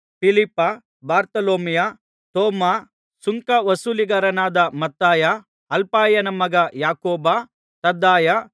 ಫಿಲಿಪ್ಪ ಬಾರ್ತೊಲೊಮಾಯ ತೋಮ ಸುಂಕ ವಸೂಲಿಗಾರನಾದ ಮತ್ತಾಯ ಅಲ್ಫಾಯನ ಮಗ ಯಾಕೋಬ ತದ್ದಾಯ